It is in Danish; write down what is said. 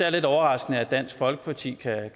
er lidt overraskende at dansk folkeparti